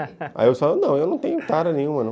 Aí eu falei, não, eu não tenho tara nenhuma, não.